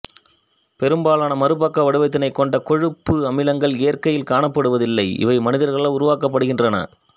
பெரும்பாலான மாறுபக்க வடிவத்தினைக் கொண்ட கொழுப்பு அமிலங்கள் இயற்கையில் காணப்படுவதில்லை இவை மனிதர்களால் உருவாக்கப்படுகின்றன